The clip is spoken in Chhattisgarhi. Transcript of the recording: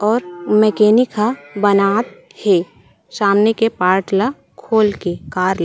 और मैकेनिक हा बनावत हे सामने के पार्ट ला खोल के कार ला--